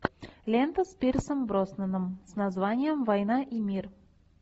лента с пирсом броснаном с названием война и мир